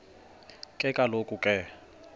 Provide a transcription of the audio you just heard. ke kaloku ke